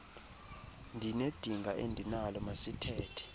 ndinedinga endinalo masithethe